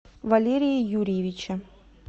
валерия юрьевича